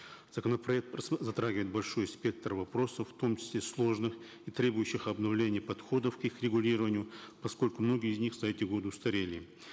законопроект затрагивает большой спектр вопросов в том числе сложных и требующих обновления подходов к их регулированию поскольку многие из них за эти годы устарели